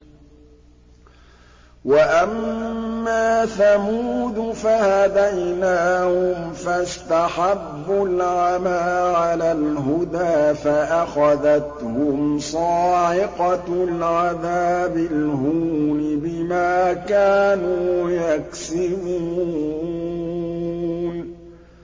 وَأَمَّا ثَمُودُ فَهَدَيْنَاهُمْ فَاسْتَحَبُّوا الْعَمَىٰ عَلَى الْهُدَىٰ فَأَخَذَتْهُمْ صَاعِقَةُ الْعَذَابِ الْهُونِ بِمَا كَانُوا يَكْسِبُونَ